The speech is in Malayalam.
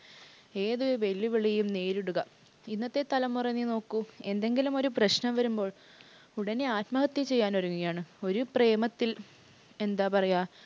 ഏതൊരു വെല്ലുവിളിയും നേരിടുക. ഇന്നത്തെ തലമുറ നീ നോക്കു. എന്തെങ്കിലുമൊരു പ്രശ്‍നം വരുമ്പോൾ ഉടനെ ആത്മഹത്യ ചെയ്യാൻ ഒരുങ്ങുകയാണ്. ഒരു പ്രേമത്തിൽ എന്താ പറയുക